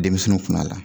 Denmisɛnninw kun a la